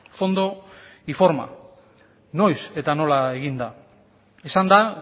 fondo y forma noiz eta nola egin da esan da